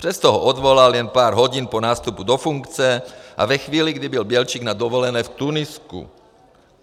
Přesto ho odvolal jen pár hodin po nástupu do funkce a ve chvíli, kdy byl Bělčík na dovolené v Tunisku.